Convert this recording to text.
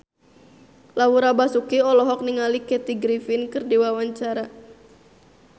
Laura Basuki olohok ningali Kathy Griffin keur diwawancara